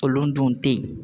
Kolon dun te yen